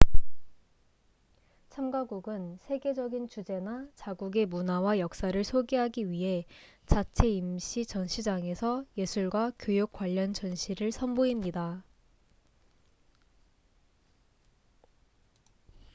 참가국은 세계적인 주제나 자국의 문화와 역사를 소개하기 위해 자체 임시 전시장에서 예술과 교육 관련 전시를 선보입니다